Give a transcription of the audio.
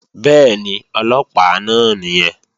Bẹ́ẹ̀ni, Ọlọ́pàá náà nìyẹn